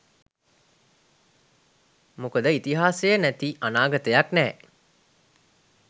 මොකද ඉතිහාසය නැති අනාගතයක් නෑ.